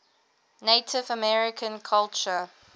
native american culture